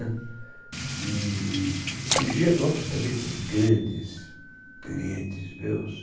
E em Gianópolis também tem grandes clientes meus.